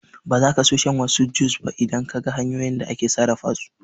Ba zaka so shan wasu jus ba idan Kaga hanyoyin da ake sarrafa su